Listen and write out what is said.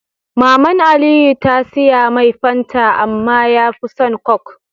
Maman aliyu ta siyamai fanta amma yafi son coke